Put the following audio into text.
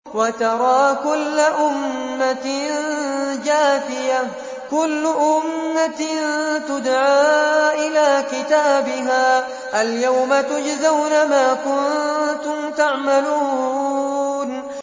وَتَرَىٰ كُلَّ أُمَّةٍ جَاثِيَةً ۚ كُلُّ أُمَّةٍ تُدْعَىٰ إِلَىٰ كِتَابِهَا الْيَوْمَ تُجْزَوْنَ مَا كُنتُمْ تَعْمَلُونَ